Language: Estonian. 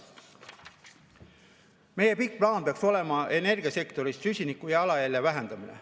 Meie pikk plaan peaks olema energiasektoris süsinikujalajälje vähendamine.